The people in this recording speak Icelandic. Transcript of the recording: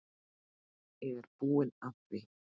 Ég er búinn að því.